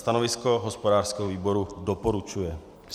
Stanovisko hospodářského výboru - doporučuje.